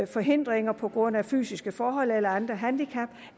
forhindringer på grund af fysiske forhold eller andre handicap